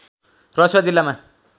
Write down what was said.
रसुवा जिल्लामा